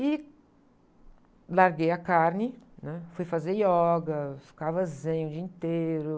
E larguei a carne, hum, fui fazer ioga, ficava zen o dia inteiro.